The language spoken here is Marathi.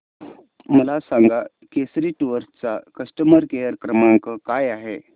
मला सांगा केसरी टूअर्स चा कस्टमर केअर क्रमांक काय आहे